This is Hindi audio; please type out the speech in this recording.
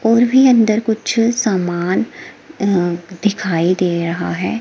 और भी अंदर कुछ सामान अह दिखाई दे रहा है।